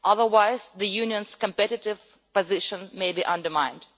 Otherwise, the Union's competitive position may be undermined.